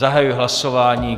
Zahajuji hlasování.